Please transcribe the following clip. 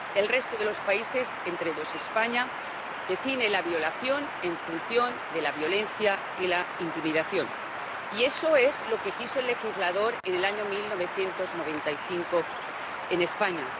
El resto de los países, entre ellos España, define la violación en función de la violencia y la intimidación, y eso es lo que quiso el legislador en el año 1995 en España